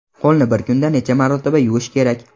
Qo‘lni bir kunda necha marotaba yuvish kerak?